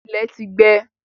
Ilẹ̀ ti gbẹ.